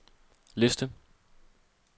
liste